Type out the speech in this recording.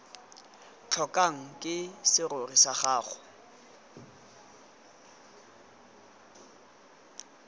tlhokwang ke serori sa gago